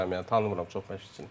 Bilmürəm yəni tanımıram çox məşqçini.